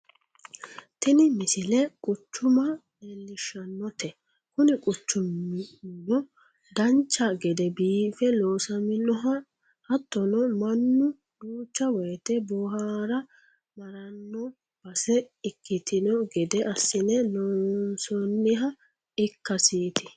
tini misle quchuma leellishshannote kuni quchumuno dancha gede biife loosaminoha hattono mannu duucha woyiite bohaara maranno base ikkitanno gede assine loonsooniha ikkasiiti